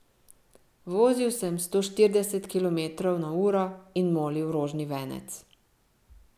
Vozil sem sto štirideset kilometrov na uro in molil rožni venec.